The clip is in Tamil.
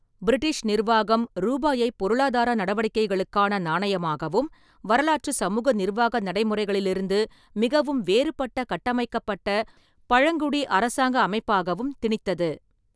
பிரிட்டிஷ் நிர்வாகம் ரூபாயைப் பொருளாதார நடவடிக்கைகளுக்கான நாணயமாகவும், வரலாற்றுச் சமூக நிர்வாக நடைமுறைகளிலிருந்து மிகவும் வேறுபட்ட கட்டமைக்கப்பட்ட பழங்குடி அரசாங்க அமைப்பாகவும் திணித்தது.